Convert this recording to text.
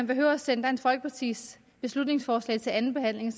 behøver at sende dansk folkepartis beslutningsforslag til andenbehandling